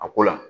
A ko la